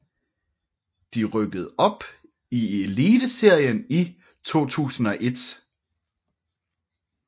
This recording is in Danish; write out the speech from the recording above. De rykkede op i Eliteserien i 2001